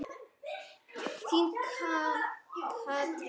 Þín Katrín.